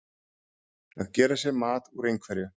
Að gera sér mat úr einhverju